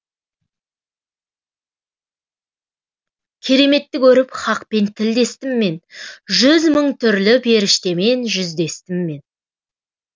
кереметті көріп хақпен тілдестім мен жүз мың түрлі періштемен жүздестім мен